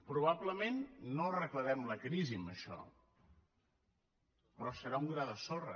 probablement no arreglarem la crisi amb això però serà un gra de sorra